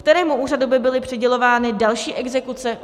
Kterému úřadu by byly přidělovány další exekuce?